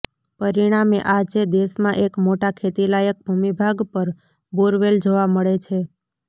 પરિણામે આ જે દેશમાં એક મોટા ખેતીલાયક ભૂમિભાગ પર બોરવેલ જોવા મળે છે